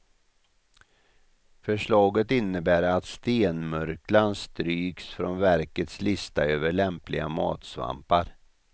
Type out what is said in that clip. Förslaget innebär att stenmurklan stryks från verkets lista över lämpliga matsvampar.